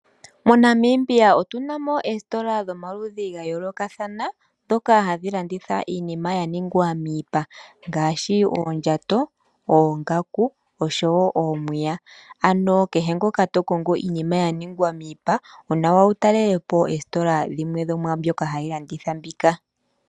MoNamibia otuna mo oositola dhomaludhi ga yoolokathana ndhoka hadhi landitha iinima yaningwa miipa ngaashi oongaku, oondjato oshowo oomwiya. Ano kehe noka to kongo iinima ya ningwa miipa onawa wutalele po oositola dhimwe dho mwaambyoka hadhi landitha mbika.